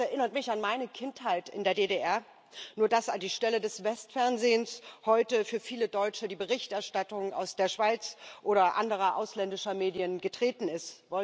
Das erinnert mich an meine Kindheit in der DDR, nur dass an die Stelle des Westfernsehens heute für viele Deutsche die Berichterstattung aus der Schweiz oder anderer ausländischer Medien getreten ist.